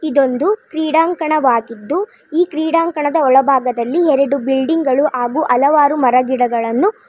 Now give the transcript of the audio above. ಇದೊಂದು ಕ್ರೀಡಾಂಕಣ ವಾಗಿದ್ದು ಈ ಕ್ರೀಡಾಂಕಣ ದ ಒಳಭಾಗದಲ್ಲಿ ಎರಡು ಬಿಲ್ಡಿಂಗ್ ಗಳು ಹಾಗು ಹಲವಾರು ಮರ ಗಿಡಗಳನ್ನು --